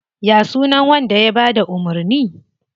Ya sunan wanda ya bada umurni?